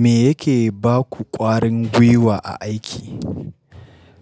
Me yake baku ƙwarin gwiwa a aiki?